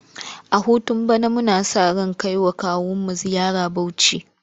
A hutun bana muna sa ran kai wa kawunmu ziyara Bauchi.